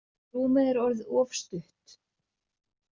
Rúmið er orðið of stutt.